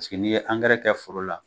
Sigi ni ye angɛrɛ kɛ foro la